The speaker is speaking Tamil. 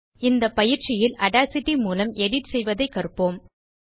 இந்தப் பயிற்சியில் ஆடாசிட்டி மூலம் எடிட் செய்வதைக் கற்போம்